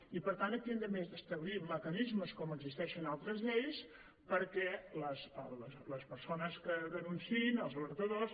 i per tant aquí hem d’establir mecanismes com existeixen a altres lleis perquè les persones que denunciïn els alertadors